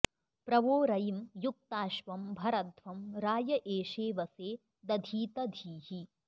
प्र वो रयिं युक्ताश्वं भरध्वं राय एषेऽवसे दधीत धीः